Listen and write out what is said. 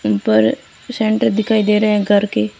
उन पर सेंटर दिखाई दे रहे हैं घर के।